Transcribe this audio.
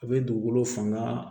A bɛ dugukolo fanga